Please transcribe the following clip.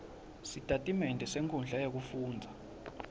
sitatimende senkhundla yekufundza